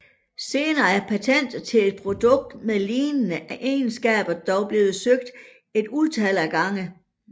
Senere er patentet til et produkt med lignende egenskaber dog blevet søgt et utal af gange